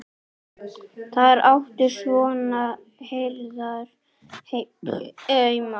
Þar áttu svona herðar heima.